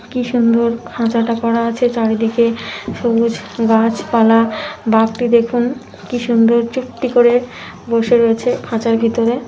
কি সুন্দর খাঁচাটা করা আছে চারিদিকে সবুজ গাছপালা বাঘটি দেখুন কি সুন্দর চুপটি করে বসে রয়েছে খাঁচার ভিতরে।